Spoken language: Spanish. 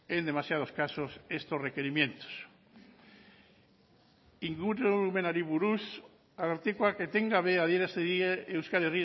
en demasiados casos estos requerimientos ingurumenari buruz arartekoak etengabe adierazi die euskal